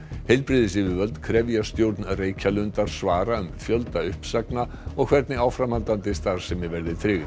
heilbrigðisyfirvöld krefja stjórn Reykjalundar svara um fjölda uppsagna og hvernig áframhaldandi starfsemi verði tryggð